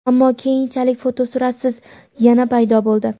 ammo keyinchalik fotosuratsiz yana paydo bo‘ldi.